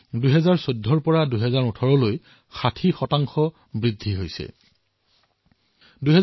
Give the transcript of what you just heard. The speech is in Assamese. ভাৰতত বাঘৰ সংখ্যা ২০১৪ চনৰ পৰা ২০১৮ চনলৈ ৬০ শতাংশতকৈও অধিক বৃদ্ধি হৈছে